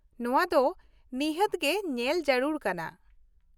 ᱱᱚᱶᱟ ᱫᱚ ᱱᱤᱷᱟᱹᱛ ᱜᱮ ᱧᱮᱞ ᱡᱟᱹᱨᱩᱲ ᱠᱟᱱᱟ ᱾